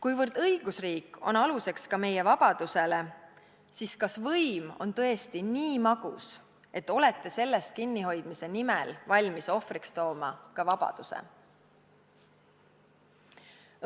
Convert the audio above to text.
Kuivõrd õigusriik on aluseks ka meie vabadusele, siis kas võim on tõesti nii magus, et olete sellest kinnihoidmise nimel valmis ohvriks tooma ka vabaduse?